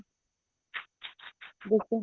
ਦੇਖੋ